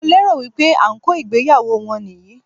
Mo lérò wípé ànkò ìgbéyàwó wọn nì yí í